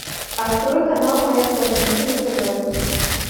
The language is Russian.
открой канал моя планета на тв